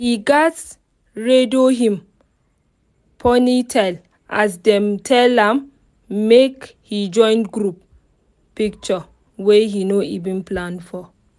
im gatz redo him ponytail as dem tell am make he join group picture wey he no even plan for.